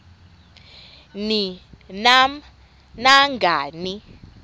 ni nam nangani